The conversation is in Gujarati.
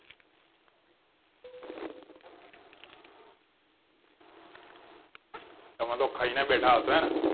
તમે લોક ખાઈ ને બેઠા હસો હે ને